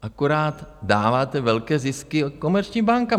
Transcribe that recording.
Akorát dáváte velké zisky komerčním bankám.